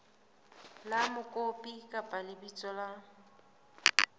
la mokopi kapa lebitso la